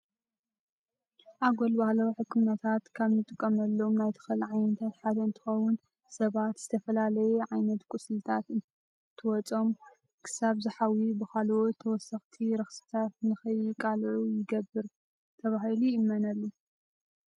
ኣጎል ባህላዊ ሕክምናታት ካብ እንጥቀመሎም ናይ ተክሊ ዓይነታት ሓደ እንትኸውን ሰባት ዝተፈላለየ ዓይነት ቁስልታት እንትወፅኦም ክሳብ ዝሓውዩ ብካልኦት ተወሰክቲ ረክስታት ንገይቃልዑ ይገብር ተባሂሉ ይእመነሉ።